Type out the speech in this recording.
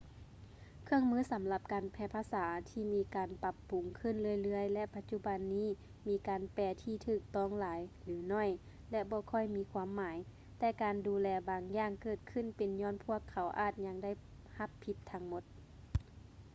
ເຄື່ອງມືສຳລັບການແປພາສາມີການປບປຸງຂຶ້ນເລື້ອຍໆ ແລະ ປະຈຸບັນນີ້ມີການແປທີ່ຖືກຕ້ອງຫຼາຍ ຫຼື ໜ້ອຍ ແລະ ບໍ່ຄ່ອຍມີຄວາມໝາຍ ແຕ່ການດູແລບາງຢ່າງເກີດຂຶ້ນເປັນຍ້ອນພວກເຂົາອາດຍັງໄດ້ຮັບຜິດທັງໝົດ